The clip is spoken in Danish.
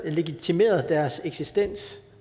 legitimeret deres eksistens